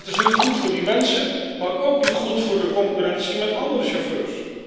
Dat is niet goed voor die mensen, maar ook niet goed voor de concurrentie met andere chauffeurs.